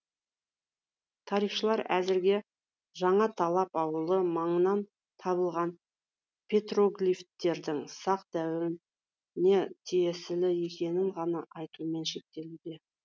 тарихшылар әзірге жаңаталап ауылы маңынан табылған петроглифтердің сақ дәуіріне тиесілі екенін ғана айтумен шектелуде